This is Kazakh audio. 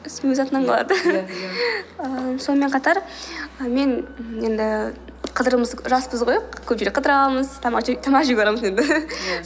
өз атынан қалады ааа сонымен қатар мен енді жаспыз ғой көп жерге қыдырамыз тамақ жеуге барамыз енді